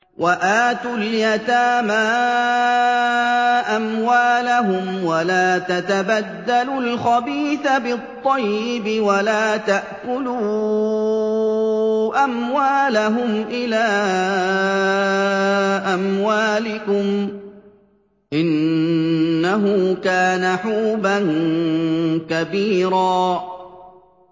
وَآتُوا الْيَتَامَىٰ أَمْوَالَهُمْ ۖ وَلَا تَتَبَدَّلُوا الْخَبِيثَ بِالطَّيِّبِ ۖ وَلَا تَأْكُلُوا أَمْوَالَهُمْ إِلَىٰ أَمْوَالِكُمْ ۚ إِنَّهُ كَانَ حُوبًا كَبِيرًا